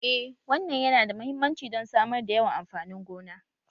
Eh wannan yana da mahimmanci don samar da yawan amfanin gona